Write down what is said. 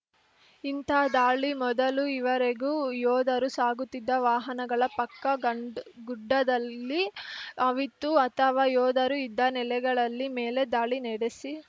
ಇಂಥ ದಾಳಿ ಮೊದಲು ಈವರೆಗೂ ಯೋಧರು ಸಾಗುತ್ತಿದ್ದ ವಾಹನಗಳ ಪಕ್ಕ ಗಂಡ್ ಗುಡ್ಡದಲ್ಲಿ ಅವಿತು ಅಥವಾ ಯೋಧರು ಇದ್ದ ನೆಲೆಗಳಲ್ಲಿ ಮೇಲೆ ದಾಳಿ ನಡೆಸಿ